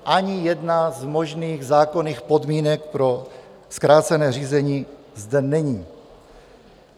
Ani jedna z možných zákonných podmínek pro zkrácené řízení zde není.